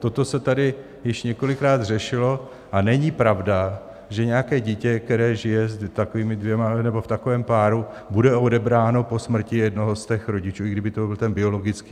Toto se tady již několikrát řešilo a není pravda, že nějaké dítě, které žije s takovými dvěma nebo v takovém páru, bude odebráno po smrti jednoho z těch rodičů, i kdyby to byl ten biologický.